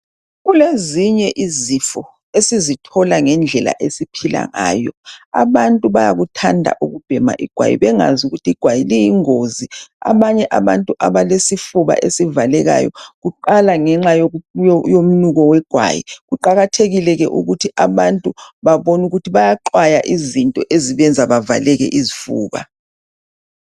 Kulezinye izifo esizithola ngendlela abantu abaphila ngayo. Abantu bayakuthanda ukubhema igwayi bengazi ukuthi igway liyingozi. Abanye abantu abelesifuba esivalekayo kuqala ngenxa yomnuko wegwayi. Kuqakathekile ke ukuthi abantu babone ukuthi bayaqwaya izinto ezibenza bavaleke izifuba.